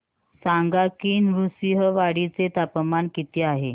सांगा की नृसिंहवाडी चे तापमान किती आहे